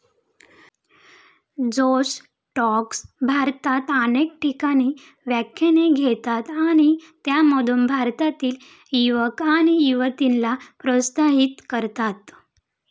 जोश टॉक्स भारतात अनेक ठिकाणी व्याख्याने घेतात आणि त्यामधून भारतातील युवक आणि युवतींना प्रोत्साहीत करतात.